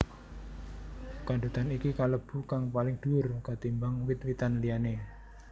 Kandutan iki kalebu kang paling duwur ketimbang wit witan liyané